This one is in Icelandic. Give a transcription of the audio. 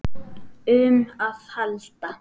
um að halda.